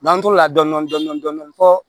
N'an to la dɔndɔni dɔndɔni dɔndɔni fɔ